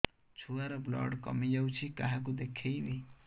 ଛୁଆ ର ବ୍ଲଡ଼ କମି ଯାଉଛି କାହାକୁ ଦେଖେଇବି